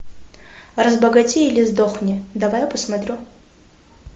разбогатей или сдохни давай я посмотрю